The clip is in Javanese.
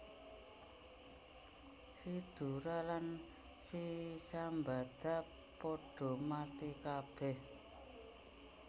Si Dora lan si Sambada padha mati kabèh